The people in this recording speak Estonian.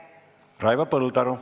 Raivo Põldaru.